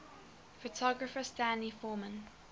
photographer stanley forman